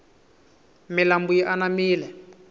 milambu yi anamile